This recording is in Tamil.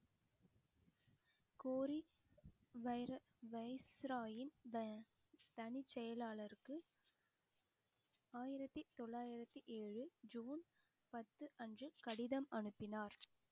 கோரி vira~ viceroy யின் த~ தனிச்செயலாளருக்கு ஆயிரத்தி தொள்ளாயிரத்தி ஏழு ஜூன் பத்து அன்று கடிதம் அனுப்பினார்